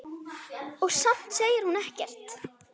Og samt segir hún ekkert.